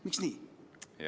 Miks nii?